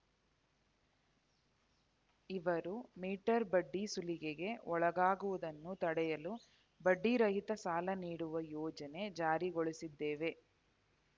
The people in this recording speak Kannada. ಇವರು ಮೀಟರ್‌ ಬಡ್ಡಿ ಸುಲಿಗೆಗೆ ಒಳಗಾಗುವುದನ್ನು ತಡೆಯಲು ಬಡ್ಡಿರಹಿತ ಸಾಲ ನೀಡುವ ಯೋಜನೆ ಜಾರಿಗೊಳಿಸಿದ್ದೇವೆ